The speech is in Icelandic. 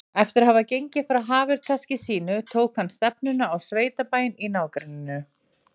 Eftir að hafa gengið frá hafurtaski sínu tók hann stefnuna á sveitabæinn í nágrenninu.